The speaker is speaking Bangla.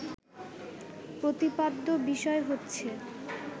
প্রতিপাদ্য বিষয় হচ্ছে